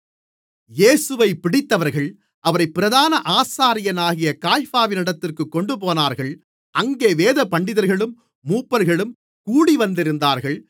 இயேசுவைப் பிடித்தவர்கள் அவரைப் பிரதான ஆசாரியனாகிய காய்பாவினிடத்திற்குக் கொண்டுபோனார்கள் அங்கே வேதபண்டிதர்களும் மூப்பர்களும் கூடிவந்திருந்தார்கள்